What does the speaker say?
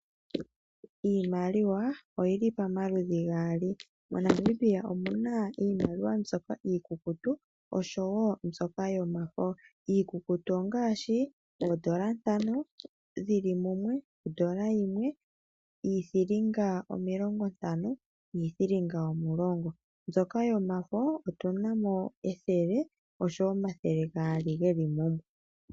Iimaliwa oyili pamaludhi gaali, moNamibia omuna iimaliwa mbyoka iikuku osho woo mbyoka yomafo. Iikukutu ongaashi: oondola ntano dhili mumwe, ondola yimwe, iithilinga omilongo ntano niithilinga omulongo. Mbyoka yomafo otunamo ethele oshowo omathele gaali geli mumwe.